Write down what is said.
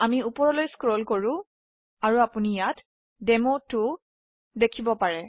আমি উপৰলৈ স্ক্ৰল কৰো আৰু আপোনি ইয়াত ডেমো2 দেখব পাৰে